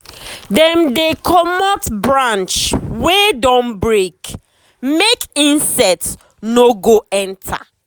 dem dey comot branch wey don break make insect no go enter.